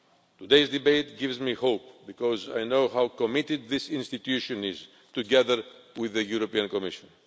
Today's debate gives me hope, because I know how committed this institution is, together with the European Commission.